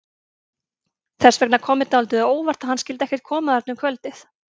Þess vegna kom mér dálítið á óvart að hann skyldi ekkert koma þarna um kvöldið.